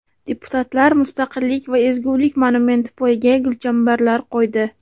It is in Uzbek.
Deputatlar Mustaqillik va ezgulik monumenti poyiga gulchambarlar qo‘ydi .